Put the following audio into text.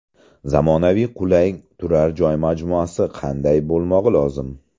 Zamonaviy qulay turar joy majmuasi qanday bo‘lmog‘i lozim?.